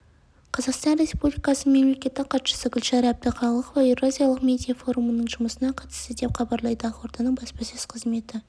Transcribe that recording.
қазақстан республикасының мемлекеттік хатшысы гүлшара әбдіқалықова еуразиялық медиа форумының жұмысына қатысты деп хабарлайды ақорданың баспасөз қызметі